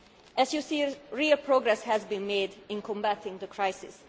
As you see, real progress has been made in combating the crisis.